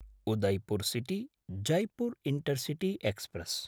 Udaipur city Jaipur intercity express